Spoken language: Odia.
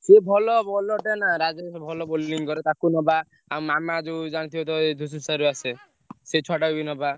ସିଏ ଭଲ ଭଲ ଭଲ bowling କରେ ତାକୁ ନବା ଆଉ ସେ ଛୁଆଟା ବି ନବା।